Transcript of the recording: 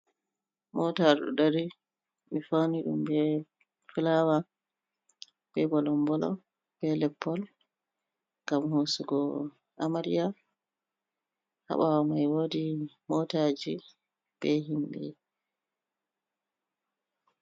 Mota ɗo dari ɓe fauni ɗum be fulawa, be bolom'bolom, leppol, gam hosugo amariaya, ha ɓawo mai wodi motaji be himɓe.